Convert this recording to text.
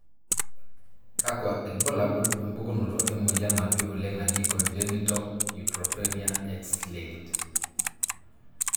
kakwa ilbulabul opukunoto emoyian napii oleng najii congenital neutropenia X linked?